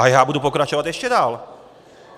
A já budu pokračovat ještě dál!